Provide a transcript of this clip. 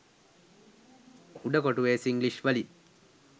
උඩ කොටුවෙ සිංග්ලිෂ් වලින්